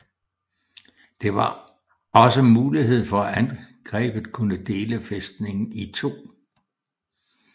Det var også mulighed for at angrebet kunne dele fæstningen i to